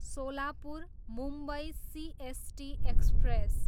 Solapur, Mumbai CST express